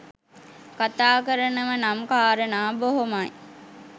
කථා කරනව නම් කාරණා බොහොමයි